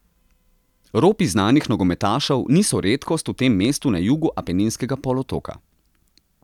Ropi znanih nogometašev niso redkost v tem mestu na jugu Apeninskega polotoka.